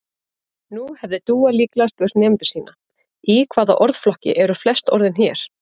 Nú hefði Dúa líklega spurt nemendur sína: Í hvaða orðflokki eru flest orðin hér?